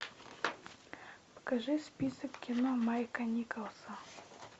покажи список кино майка николса